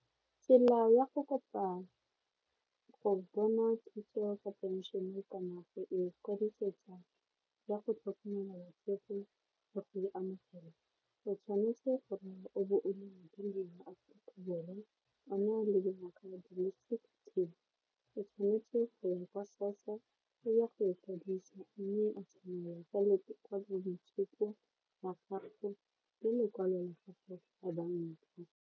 Tsela ya go kopa go bona thuso ka pension kana go ikwadisetsa ya go tlhokomela batsofe le go e amogela o tshwanetse gore o bo o o tshwanetse go ya kwa SASSA e ya go ikwadisa mme a tsamaya ka boitshupo la gago le lekwalo lekalo la banka.